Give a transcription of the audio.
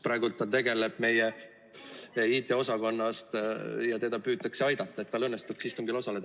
Praegu ta tegeleb probleemiga ja meie IT-osakonnast püütakse teda aidata, et tal õnnestuks istungil osaleda.